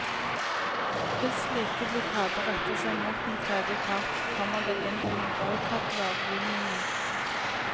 Hvis slike blokader retter seg mot en tredje part, kommer det inn under boikottlovgivningen.